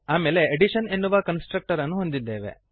ಆಮೇಲೆ ಅಡಿಷನ್ ಎನ್ನುವ ಕನ್ಸ್ಟ್ರಕ್ಟರ್ ಅನ್ನು ಹೊಂದಿದ್ದೇವೆ